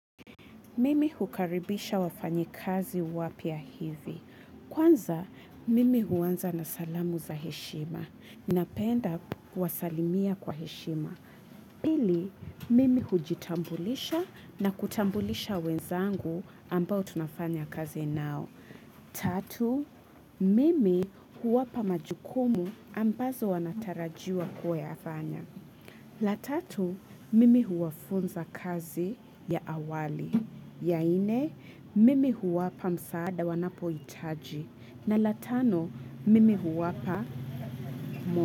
Mimi hukaribisha wafanya kazi wapya hivi. Kwanza, mimi huanza na salamu za heshima. Napenda kuwasalimia kwa heshima. Pili, mimi hujitambulisha na kutambulisha wenzangu ambao tunafanya kazi nao. Tatu, mimi huwapa majukumu ambazo wanatarajiwa kuyafanya. La tatu mimi huwafunza kazi ya awali, ya nne mimi huwapa msaada wanapo itaji na la tano mimi huwapa mwa.